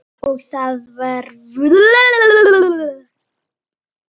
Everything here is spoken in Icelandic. Og það er vor.